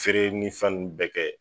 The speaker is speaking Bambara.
Feere ni fɛn nn bɛɛ kɛ